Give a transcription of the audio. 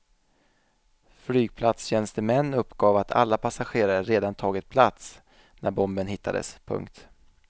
Flygplatstjänstemän uppgav att alla passagerare redan tagit plats när bomben hittades. punkt